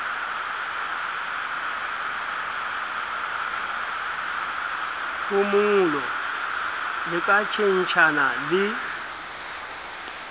phomolo le ka tjhentjhana le